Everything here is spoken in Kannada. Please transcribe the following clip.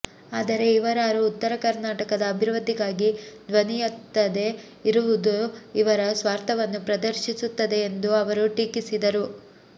ಆದರೆ ಇವರಾರು ಉತ್ತರ ಕರ್ನಾಟಕದ ಅಭಿವೃದ್ಧಿಗಾಗಿ ಧ್ವನಿಯೆತ್ತದೆ ಇರುವದು ಇವರ ಸ್ವಾರ್ಥವನ್ನು ಪ್ರದರ್ಶಿಸುತ್ತದೆ ಎಂದು ಅವರು ಟೀಕಿಸಿದರು